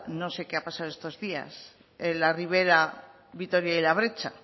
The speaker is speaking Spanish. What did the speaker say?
no sé qué ha pasado estos días en la ribera vitoria y la bretxa